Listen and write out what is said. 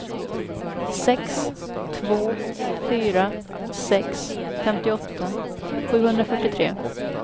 sex två fyra sex femtioåtta sjuhundrafyrtiotre